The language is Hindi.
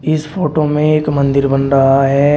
इस फोटो में एक मंदिर बन रहा है।